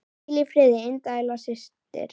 Hvíl í friði indæl systir.